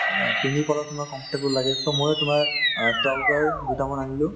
অ, পিন্ধি পেলাই তোমাৰ comfortable লাগে so মই তোমাৰ অ trouser দুটামান আনিলো